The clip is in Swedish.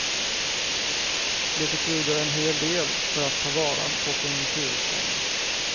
Det betyder en hel del för att ta vara på konjunkturuppgången.